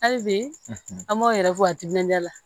Hali bi an m'aw yɛrɛ fɔ a timinandiya la